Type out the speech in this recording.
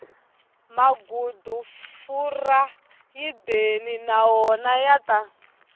magudufurayideyi na wona ya ta